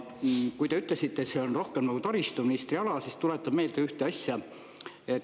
Kui te ütlesite, et see on rohkem nagu taristuministri ala, siis tuletan meelde ühte asja.